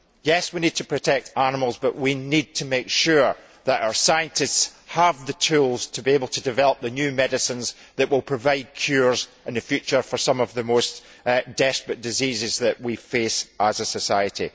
Yes, we need to protect animals, but we need to make sure that our scientists have the tools to be able to develop the new medicines that will provide cures in the future for some of the most desperate diseases that we face as a society.